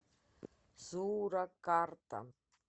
суракарта